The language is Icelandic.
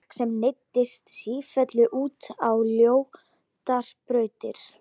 Fólki sem leiddist sífellt út á ljótari brautir.